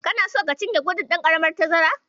Kana so ka cinye gudun ɗan karamin tazara?